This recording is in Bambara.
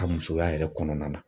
Ka musoya yɛrɛ kɔnɔna na.